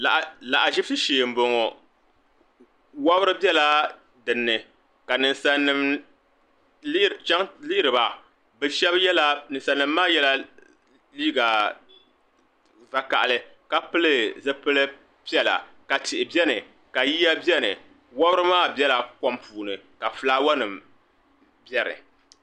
lahiʒibisi shee m-bɔŋɔ wabiri bela di ni ka ninsalinima lihiri ba ninsalinima maa yɛla liiga vakahili ka pili zipil' piɛla ka tihi beni ka yiya beni wabiri maa bela kom puuni ka fulaawanima beni